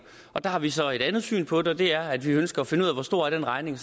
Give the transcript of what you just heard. der har vi så et andet syn på det og det er at vi ønsker at finde ud af hvor stor den regning